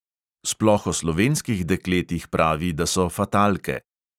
Sploh o slovenskih dekletih pravi, da so fatalke.